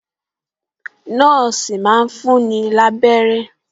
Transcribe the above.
Nọ́ọ̀sì máa ń fún ni lábẹ́rẹ́